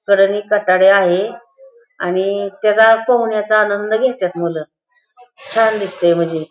कडेने कठाडे आहे आणि त्याचा पोहण्याचा आनंद घेत्यात मुलं छान दिसतंय म्हजे.